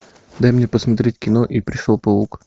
дай мне посмотреть кино и пришел паук